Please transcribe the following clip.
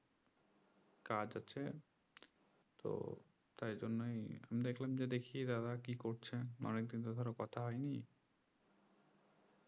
কাজ আছে তো তাই জন্যই আমি দেখলাম যে দেখি দাদা কি করছে অনেক দিন তো ধরো কথা হয়নি কথা হয়নি